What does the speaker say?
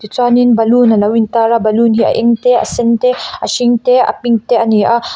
chuanin balloon alo in tar a balloon a eng te a sen te a hring te a pink te ani a.